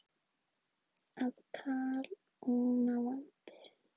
Að kalóna vambir.